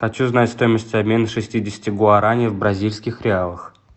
хочу узнать стоимость обмена шестидесяти гуарани в бразильских реалах